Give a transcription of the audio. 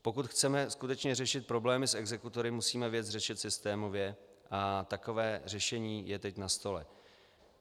Pokud chceme skutečně řešit problémy s exekutory, musíme věc řešit systémově a takové řešení je teď na stole.